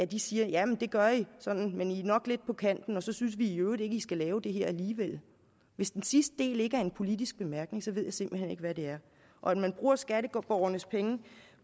de siger jamen det gør i sådan men i er nok lidt på kanten og så synes vi i øvrigt ikke i skal lave det her alligevel hvis den sidste del ikke er en politisk bemærkning ved jeg simpelt hen ikke hvad det er og at man bruger skatteborgernes penge